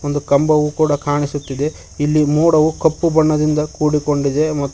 ಒಂದು ಕಂಬವು ಕೂಡ ಕಾಣಿಸುತ್ತಿದೆ ಇಲ್ಲಿ ಮೋಡವು ಕಪ್ಪು ಬಣ್ಣದಿಂದ ಕೂಡಿಕೊಂಡಿದೆ ಮತ್ --